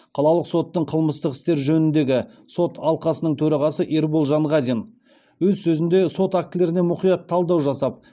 қалалық соттың қылмыстық істер жөніндегі сот алқасының төрағасы ербол жанғазин өз сөзінде сот актілеріне мұқят талдау жасап